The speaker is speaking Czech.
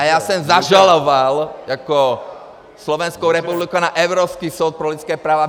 A já jsem zažaloval jako Slovenskou republiku na Evropský soud pro lidské práva.